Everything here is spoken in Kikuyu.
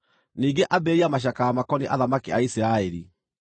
“Ningĩ ambĩrĩria macakaya makoniĩ athamaki a Isiraeli,